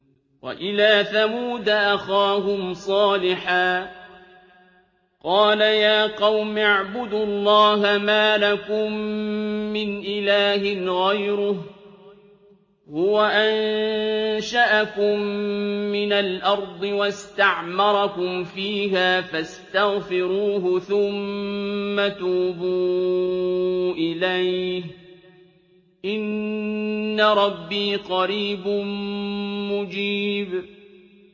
۞ وَإِلَىٰ ثَمُودَ أَخَاهُمْ صَالِحًا ۚ قَالَ يَا قَوْمِ اعْبُدُوا اللَّهَ مَا لَكُم مِّنْ إِلَٰهٍ غَيْرُهُ ۖ هُوَ أَنشَأَكُم مِّنَ الْأَرْضِ وَاسْتَعْمَرَكُمْ فِيهَا فَاسْتَغْفِرُوهُ ثُمَّ تُوبُوا إِلَيْهِ ۚ إِنَّ رَبِّي قَرِيبٌ مُّجِيبٌ